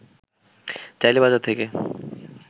চাইলে বাজার থেকে